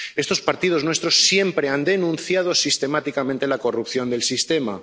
Estos partidos nuestros siempre han denunciado sistemáticamente la corrupción del sistema.